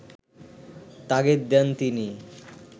তাগিদ দেন তিনি